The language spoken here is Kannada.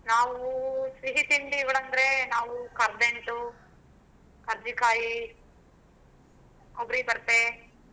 ನಾವು ಸಿಹಿ ತಿಂಡಿಗಳಂದ್ರೆ ನಾವು ಕರದಂಟು ಕರ್ಚಿಕಾಯಿ ಕೊಬ್ಬರಿಬರ್ಪೆ,